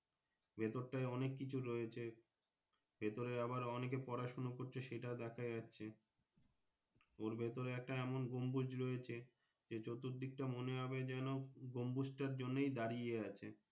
ভেতরটায় অনেক কিছুই রয়েছে ভেতরে আবার অনেকেই পড়াশোনা করছে সেটাও দেখা যাচ্ছে ওর ভিতরে একটা এমন গমভুজ রয়েছে যে চতুর দিকটা মনে হয় যেন গমভুজটার জন্যই দাঁড়িয়ে আছে।